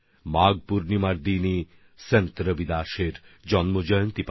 মাঘ পূর্ণিমার দিনই সন্ত রবিদাসজির জন্মজয়ন্তী